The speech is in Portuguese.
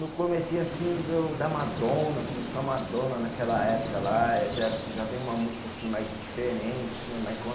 No comecinho assim do da Madonna, começou a Madonna naquela época lá, já já vem uma música mais diferente né, Michael